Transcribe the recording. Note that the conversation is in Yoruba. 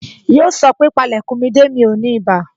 Yoo sọ pé, Pale kun mi de, mi ò ní ibà